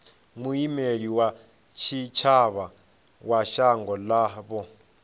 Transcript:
muimeli wa tshitshavha wa shango ḽavho